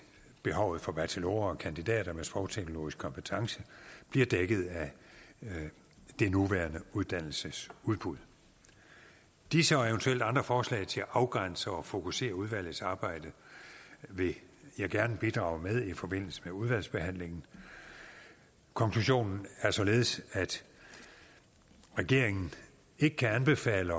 behovet for bachelorer og kandidater med sprogteknologisk kompetence bliver dækket af det nuværende uddannelsesudbud disse og eventuelt andre forslag til at afgrænse og fokusere udvalgets arbejde vil jeg gerne bidrage med i forbindelse med udvalgsbehandlingen konklusionen er således at regeringen ikke kan anbefale